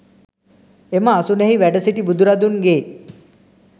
එම අසුනෙහි වැඩ සිටි බුදුරදුන්ගේ